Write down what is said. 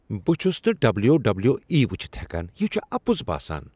بہٕ چُھس نہٕ ڈبلیو۔ ڈبلیو۔ ای ؤچھتھ ہیكان ۔ یہ چھ اپُز باسان۔